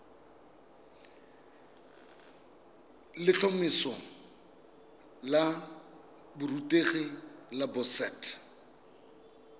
letlhomeso la borutegi la boset